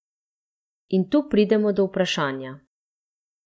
In tu pridemo do vprašanja.